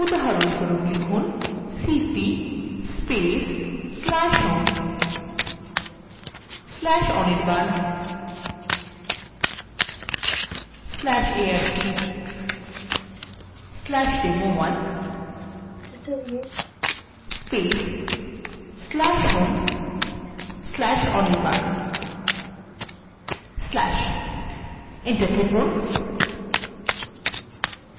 cp/home/anirban/arc/demo1/home/anirban/ enter টিপুন